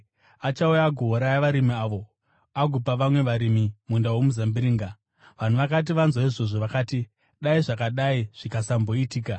Achauya agouraya varimi avo agopa vamwe varimi munda womuzambiringa.” Vanhu vakati vanzwa izvozvo, vakati, “Dai zvakadai zvikasatomboitika!”